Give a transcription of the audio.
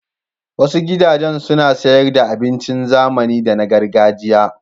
Wasu gudajen suna sayar da abincin zamani da na gargajiya.